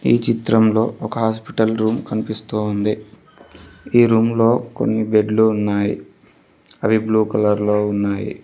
ఈ చిత్రంలో ఒక హాస్పిటల్ రూమ్ కనిపిస్తూ ఉంది ఈ రూమ్ లో కొన్ని బెడ్లు ఉన్నాయి అవి బ్లూ కలర్ లో ఉన్నాయి.